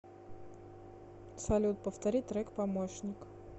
салют повтори трек помощник